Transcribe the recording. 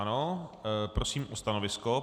Ano, prosím o stanovisko.